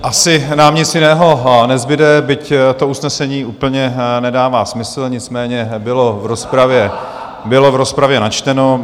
Asi nám nic jiného nezbude, byť to usnesení úplně nedává smysl , nicméně bylo v rozpravě načteno.